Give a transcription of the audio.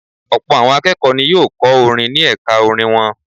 Ọ̀pọ̀ àwọn akẹ́kọ̀ọ́ ni yóò kọ́ orin ní ẹ̀ka orin wọn.